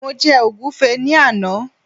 mo je ogunfe ni Ana